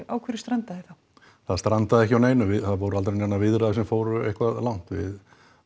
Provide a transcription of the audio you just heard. á hverju strandaði þá það strandaði ekki á neinu það voru aldrei neinar viðræður sem fóru eitthvað langt við